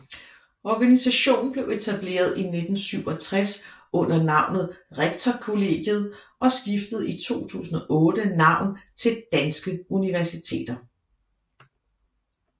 Organisationen blev etableret i 1967 under navnet rektorkollegiet og skiftede i 2008 navn til Danske Universiteter